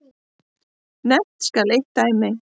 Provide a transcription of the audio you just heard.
Nefnt skal eitt dæmi.